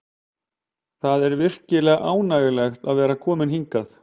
Það er virkilega ánægjulegt að vera kominn hingað.